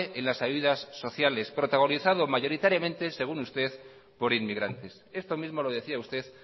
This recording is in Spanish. en las ayudas sociales protagonizado mayoritariamente según usted por inmigrantes esto mismo lo decía usted